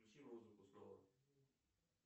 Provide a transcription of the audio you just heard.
включи музыку снова